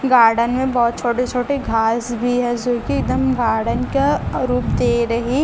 garden मे बहोत छोटे छोटे घास भी है जोकि एकदम गार्डन का रूप दे रही--